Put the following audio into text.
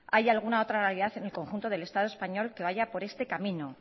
hay alguna otra en el conjunto del estado español que vaya por este camino